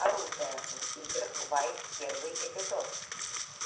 оружие в играх вайт первый эпизод